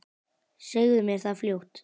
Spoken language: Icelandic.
Segðu mér það fljótt.